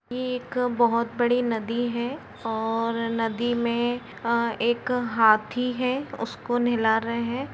यह एक बोहोत बड़ी नदी हैं और नदी में एक हांथी है उसको नेहला रहे हैं।